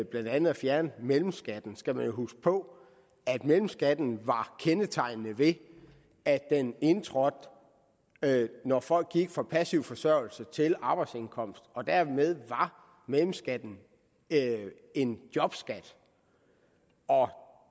blandt andet at fjerne mellemskatten skal man jo huske på at mellemskatten er kendetegnet ved at den indtrådte når folk gik fra passiv forsørgelse til arbejdsindkomst og dermed var mellemskatten en jobskat